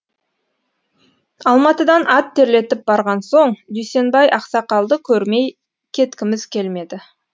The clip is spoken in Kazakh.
алматыдан ат терлетіп барған соң дүйсенбай ақсақалды көрмей кеткіміз келмеді